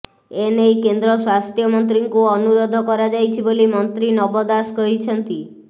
ଏନେଇ କେନ୍ଦ୍ର ସ୍ୱାସ୍ଥ୍ୟ ମନ୍ତ୍ରୀଙ୍କୁ ଅନୁରୋଧ କରାଯାଇଛି ବୋଲି ମନ୍ତ୍ରୀ ନବ ଦାସ କହିଛନ୍ତି